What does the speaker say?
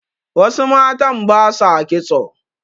wasu matan ba sa kitso